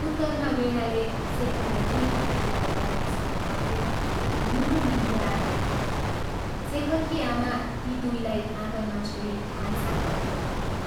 उत्तरमा वीणाले शेखरलाई दुइ हात उचालेर नमस्कार गर्दै, मुण्टो निहुराएर भनी, शेखरकी आमा ती दुइलाई आँगनमा छोडी भान्साघरतिर लागिन्।